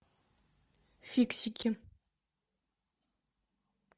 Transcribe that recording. фиксики